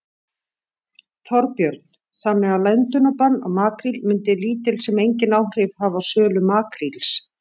Þorbjörn: Þannig að löndunarbann á makríl myndi lítil sem enginn áhrif hafa á sölu makríls?